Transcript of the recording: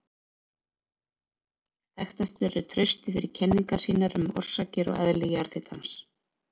Þekktastur er Trausti fyrir kenningar sínar um orsakir og eðli jarðhitans.